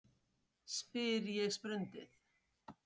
spyr ég sprundið.